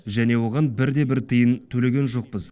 және оған бірде бір тиын төлеген жоқпыз